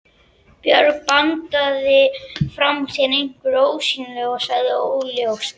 Björg bandaði frá sér einhverju ósýnilegu og sagði: Óljóst.